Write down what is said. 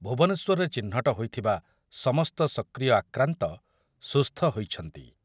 ଭୁବନେଶ୍ୱରରେ ଚିହ୍ନଟ ହୋଇଥିବା ସମସ୍ତ ସକ୍ରିୟ ଆକ୍ରାନ୍ତ ସୁସ୍ଥ ହୋଇଛନ୍ତି।